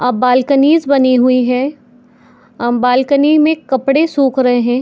आ balconies बनी हुई है आ बालकनीस में कपडे सुख रहे है।